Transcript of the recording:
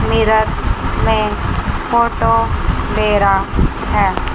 Mirror में photo दे रहा हैं।